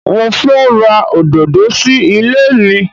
Mo fẹ́ ra òdòdó sí ilé mi.